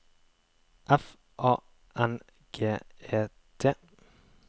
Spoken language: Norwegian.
F A N G E T